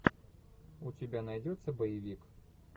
у тебя найдется боевик